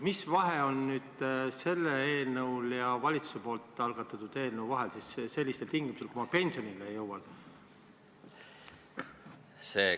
Mis vahe on sellise olukorraga seoses sellel eelnõul ja valitsuse algatatud eelnõul, kui ma pensionile jõuan?